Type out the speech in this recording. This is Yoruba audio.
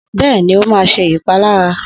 Bẹ́ẹ̀ni, ó máa ṣe ìpalára